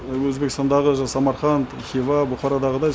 өзбекістандағы самарқанд хиуа бұқарадағыдай